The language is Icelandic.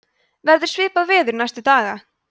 verður svipað veður næstu daga